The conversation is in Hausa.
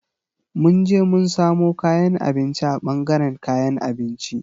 Mun je mun samo kayan abinci a ɓangaren kayan abinci.